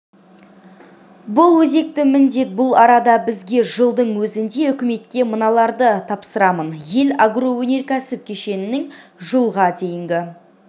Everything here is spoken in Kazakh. бұл өзекті міндет бұл арада бізге жылдың өзінде үкіметке мыналарды тапсырамын ел агроөнеркәсіп кешенінің жылға дейінгі